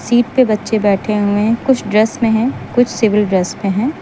Seat पे बच्चे बैठे हुए हैं। कुछ ड्रेस में हैं कुछ सिविल ड्रेस में हैं।